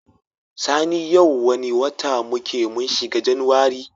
Sani yau wane wata muke mun shiga januwari?